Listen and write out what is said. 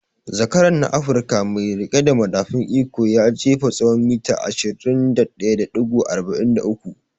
Zakaran na Afruka mai riƙe da madafun iko ya jefa tsawon mita 21.43